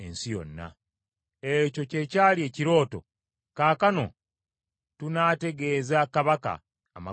“Ekyo kye kyali ekirooto; kaakano tunaategeeza kabaka amakulu gaakyo.